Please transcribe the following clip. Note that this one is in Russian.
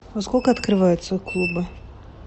во сколько открываются клубы